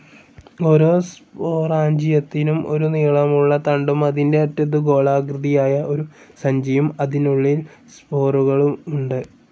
ഓരോ സ്പോറാഞ്ചിയത്തിനും ഒരു നീളമുള്ള തണ്ടും അതിൻ്റെ അറ്റത്തു ഗോളാകൃതിയായ ഒരു സഞ്ചിയും, അതിനുള്ളിൽ സ്പോറുകളുമുണ്ട്.